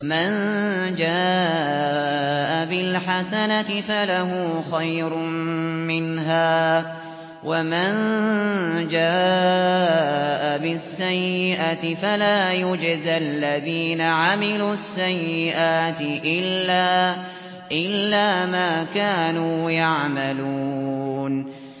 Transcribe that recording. مَن جَاءَ بِالْحَسَنَةِ فَلَهُ خَيْرٌ مِّنْهَا ۖ وَمَن جَاءَ بِالسَّيِّئَةِ فَلَا يُجْزَى الَّذِينَ عَمِلُوا السَّيِّئَاتِ إِلَّا مَا كَانُوا يَعْمَلُونَ